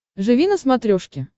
живи на смотрешке